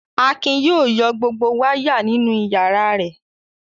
Akin yóò yọ gbogbo wáyà nínú ìyàrá rẹ̀.